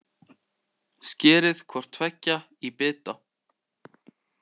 Skerið hvort tveggja í bita.